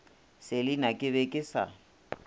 selina ke be ke sa